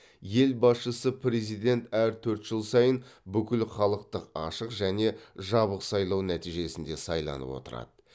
ел басшысы президент әр төрт жыл сайын бүкілхалықтық ашық және жабық сайлау нәтижесінде сайланып отырады